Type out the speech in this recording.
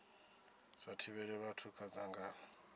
sa thivhela vhathu kha dzangano